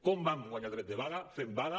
com vam guanyar el dret de vaga fent vaga